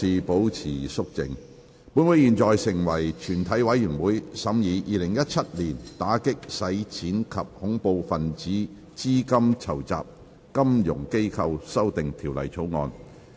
本會現在成為全體委員會，審議《2017年打擊洗錢及恐怖分子資金籌集條例草案》。